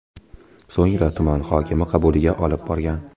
So‘ngra tuman hokimi qabuliga olib borgan.